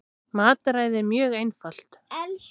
Mataræðið er mjög einfalt